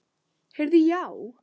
Heyrðu já.